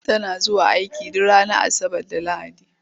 Tana zuwa aiki duk ranar Asabar da Lahadi.